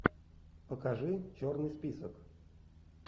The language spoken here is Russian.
покажи черный список